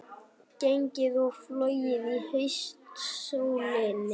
Gengið og flogið í haustsólinni